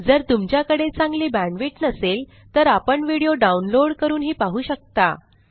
जर तुमच्याकडे चांगली बॅण्डविड्थ नसेल तर आपण व्हिडिओ डाउनलोड करूनही पाहू शकता